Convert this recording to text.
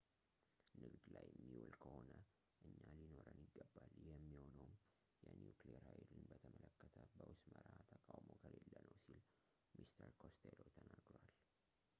ንግድ ላይ የሚውል ከሆነ እኛ ሊኖረን ይገባል ይህ የሚሆነውም የኒውክሌር ሃይልን በተመለከተ በውስጥ መርሕ ተቃውሞ ከሌለ ነው ሲል mr costello ተናግሯል